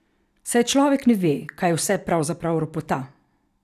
Saj človek ne ve, kaj vse pravzaprav ropota ...